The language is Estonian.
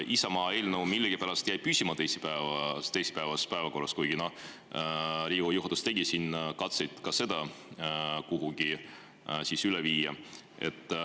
Isamaa eelnõu millegipärast jäi püsima teisipäevasesse päevakorda, kuigi Riigikogu juhatus tegi katseid ka seda kuhugi üle viia.